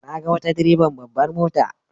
Na ga wata direban babbar mota.